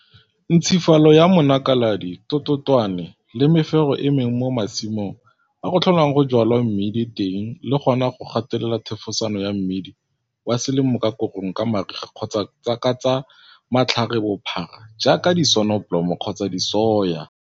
Ntshifalo ya monakaladi-tototwane le mefero e mengwe mo masimong a go tlholwang go jwalwa mmidi teng le gona go gatelela thefosano ya mmidi wa selemo ka korong ka mariga kgotsa ka tsa matlharebophara jaaka disonobolomo kgotsa disoya.